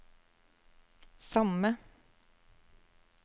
samme